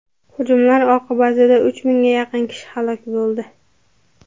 Hujumlar oqibatida uch mingga yaqin kishi halok bo‘ldi.